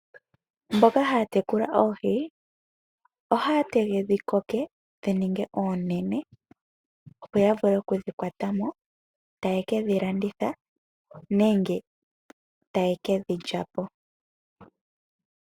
Mboka haya tekula oohi ohaya tege dhi koke, dhi ninge oonene, opo ya vule okudhi kwata mo ta ye ke dhi landitha nenge taye ke dhi lya po.